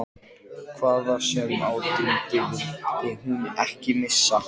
Hvernig kom ég mér í þessa sjálfheldu?